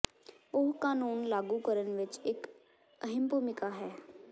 ਉਹ ਕਾਨੂੰਨ ਲਾਗੂ ਕਰਨ ਵਿੱਚ ਇੱਕ ਅਹਿਮ ਭੂਮਿਕਾ ਹੈ